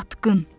Satqın!